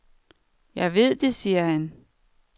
Jeg ved det, siger han.